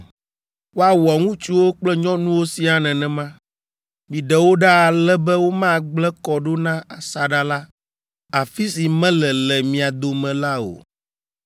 Woawɔ ŋutsuwo kple nyɔnuwo siaa nenema. Miɖe wo ɖa ale be womagblẽ kɔ ɖo na asaɖa la, afi si mele le mia dome la o.”